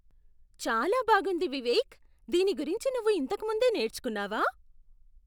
చాలా బాగుంది వివేక్! దీని గురించి నువ్వు ఇంతకు ముందే నేర్చుకున్నావా?